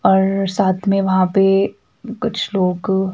और साथ में वहां पे कुछ लोग--